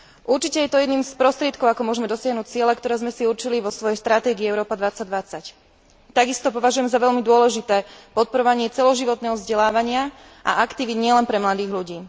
Určite to je jedným z prostriedkov, ako môžme dosiahnuť ciele, ktoré sme si určili vo svojej stratégii Európa 2020. Takisto považujem za veľmi dôležité podporovanie celoživotného vzdelávania a aktivít nielen pre mladých ľudí.